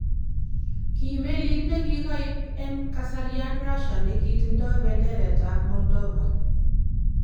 Kii meliit nekikaiib en kasarian Russia nekitindo benderet ab Moldova